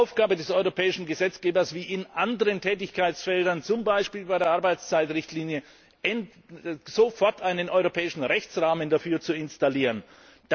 Es wäre Aufgabe des europäischen Gesetzgebers, wie in anderen Tätigkeitsfeldern, zum Beispiel bei der Arbeitszeitrichtlinie, sofort einen europäischen Rechtsrahmen dafür zu erlassen.